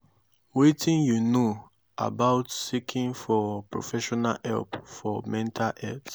wetin you know about seeking for professional help for mental health?